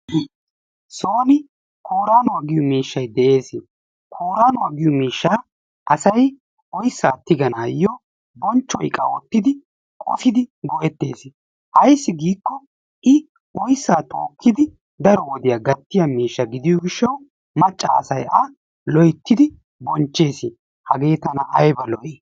Nu soon kooranuwaa giyoo miishshay de'ees. kooranuwaa asay oyssaa tiganayoo bonchcho iqa oottidi qosidi go"ettees. Ayssi giikko i oyssaa tookkidi daro wodiyaa gattiyaa miishsha gidiyoo giishshawu macca asay a loyttidi bonchchees. Hagee tana ayaba lo"ii!